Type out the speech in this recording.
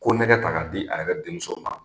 Konnɛgɛ ta ka di a yɛrɛ denmuso ma